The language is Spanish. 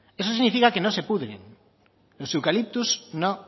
eso significa que no se pudren los eucaliptos no